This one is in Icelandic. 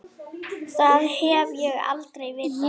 Það hef ég aldrei vitað.